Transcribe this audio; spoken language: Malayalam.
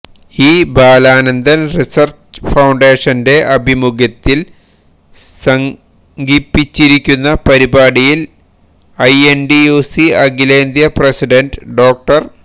ഇ ബാലാനന്ദന് റിസര്ച്ച് ഫൌണ്ടേഷന്റെ ആഭിമുഖ്യത്തില് സംഘിപ്പിച്ചിരിക്കുന്ന പരിപാടിയില് ഐഎന്ടിയുസി അഖിലേന്ത്യ പ്രസിഡന്റ് ഡോ